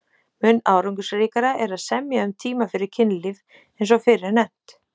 Mun árangursríkara er að semja um tíma fyrir kynlíf eins og fyrr er nefnt.